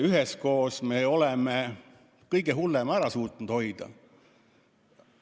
Üheskoos me oleme suutnud kõige hullema ära hoida.